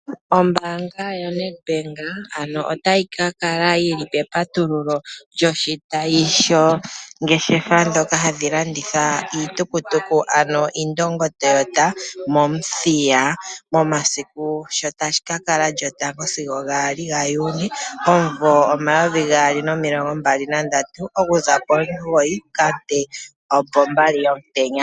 Ombaanga yo Nedbank ano ota yi ka kala yili petatululo lyoshitayi shongefa ndhoka dhadhi landitha iitukutuku ano Indingo Toyota mOmuthiya momasiku sho taga ka kala lyotango sigo gaali ga Juni omumvo omayovi gaali nomilongo mbali nandatu okuza pomugoyi sigo opo mbali yomutenya